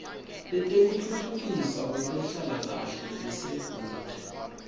letekutfutfukiswa kwetenhlalakahle lelisedvute